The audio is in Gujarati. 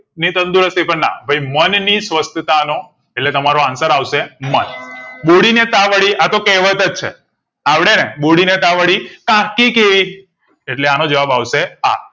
ની તંદુરસ્તી પણ અનાવે ભઈ મનની સ્વસ્થા નો એટલે તમારો answer આવશે મન બોડી ને તાવડી આતો કહેવત જ છે અવડે ને બોડી ને તાવડી કણકી કેઈ એટલે એનો જવાબ આવશે આ